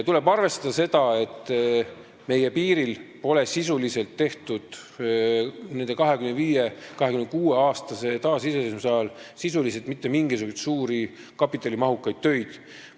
Tuleb arvestada seda, et meie piiril pole sisuliselt tehtud selle 25–26-aastase taasiseseisvuse ajal mitte mingisuguseid suuri kapitalimahukaid töid.